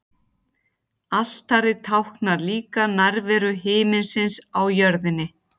Altarið táknar líka nærveru himinsins á jörðinni.